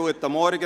Guten Morgen.